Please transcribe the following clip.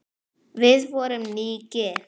Við vorum nýgift!